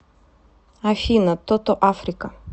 афина тото африка